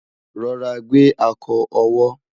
rọra gbe akọ owó